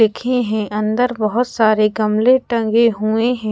एक ही है अंदर बहुत सारे गमले टंगे हुए हैं।